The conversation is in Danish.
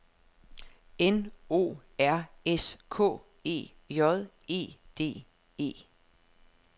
N O R S K E J E D E